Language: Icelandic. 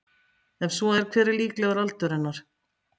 Ef svo er hver er líklegur aldur hennar?